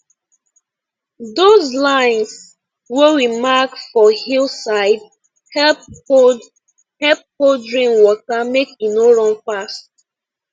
those lines wey we mark for hill side help hold help hold rain water make e no run fast